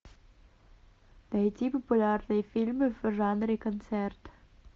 найти популярные фильмы в жанре концерт